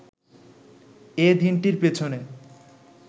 এ দিনটির পেছনে